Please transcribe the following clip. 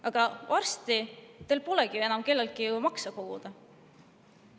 Aga varsti teil polegi enam kelleltki makse koguda.